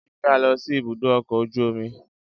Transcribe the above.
Je ki a lọ sí ibùdó ọkọ̀ ojú omi